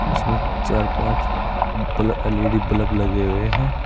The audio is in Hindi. इसमें चार पांच बल एल_ई_डी बल्ब लगे हुए हैं।